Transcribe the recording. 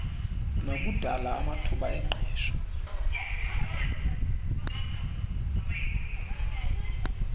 nokudalwa kwamathuba engqesho